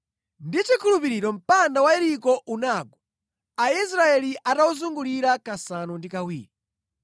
Ndi chikhulupiriro mpanda wa Yeriko unagwa, Aisraeli atawuzungulira kasanu ndi kawiri.